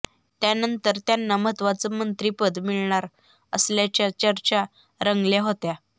यानंतर त्यांना महत्वाचं मंत्रिपद मिळणार असल्याच्या चर्चा रंगल्या होत्या